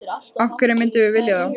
Af hverju myndum við vilja það?